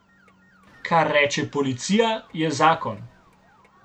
Kar reče policija, je zakon!